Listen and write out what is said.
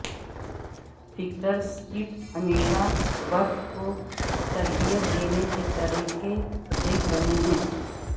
factor سکیٹ ہمیشہ برف کو تربیت دینے کے طریقے دیکھ رہے ہیں